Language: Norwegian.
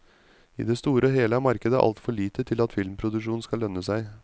I det store og hele er markedet altfor lite til at filmproduksjon skal lønne seg.